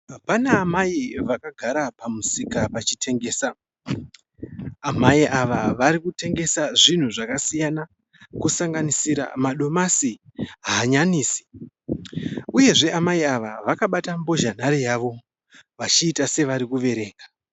Pana amai vakagara pamusika vachitengesa. Amai ava varikutengesa zvinhu zvakasiyana kusanganisira madomasi, hanyanisi. Uyezve amai ava vakabata mbozha nhare yavo vachiita se vari kuverenga.